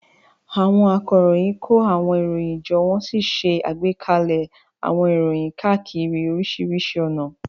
Àwọn akọ̀ròyìn kó àwọn ìròyìn jọ wọ́n sì ṣe àgbékalẹ̀ àwọn ìròyìn káàkiri oríṣiríṣi ọ̀nà.